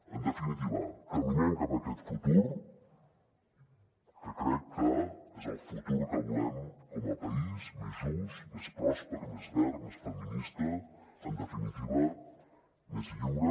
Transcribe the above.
en definitiva caminem cap a aquest futur que crec que és el futur que volem com a país més just més pròsper més verd més feminista en definitiva més lliure